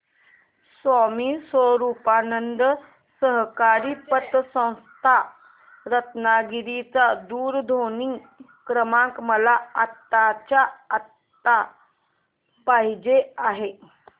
स्वामी स्वरूपानंद सहकारी पतसंस्था रत्नागिरी चा दूरध्वनी क्रमांक मला आत्ताच्या आता पाहिजे आहे